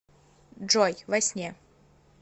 джой во сне